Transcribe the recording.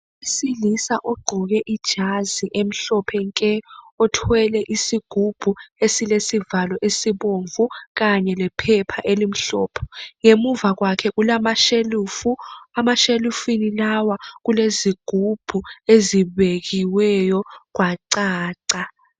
Owesilisa ogqoke ijazi emhlophe nke .Othwele isigubhu esilesivalo esibomvu. Kanye lephepha elimhlophe . Ngemuva kwakhe kulamashelufu ,emashelufini lawa kulezigubhu ezibekiweyo kwacaca.